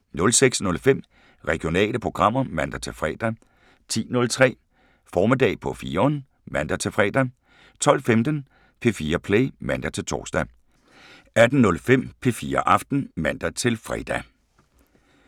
06:05: Regionale programmer (man-fre) 10:03: Formiddag på 4'eren (man-fre) 12:15: P4 Play (man-tor) 14:03: Klik (man-tor) 15:03: Regionale programmer (man-tor) 18:05: P4 Aften (man-fre)